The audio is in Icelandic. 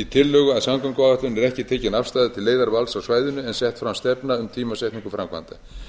í tillögu að samgönguáætlun er ekki tekin afstaða til leiðarvals á svæðinu en sett fram stefna um tímasetningu framkvæmda